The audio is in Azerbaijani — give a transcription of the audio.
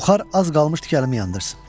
Buxar az qalmışdı ki, əlimi yandırsın.